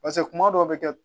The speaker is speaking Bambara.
Pase kuma dɔw bɛ kɛ